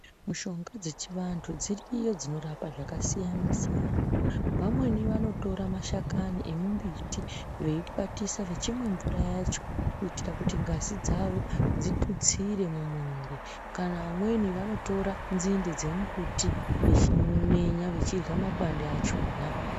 Mishonga dzechiantu dziriyo dzakasiyana siyana amweni anotora mashakani emumbiti eyi kwatisa vechimwe mvura yacho kuitira ngazi dzavo dzitutsire mumuviri vanwevweni vanotora dzinde dzemumbuti vechimenya veidya makwande achona .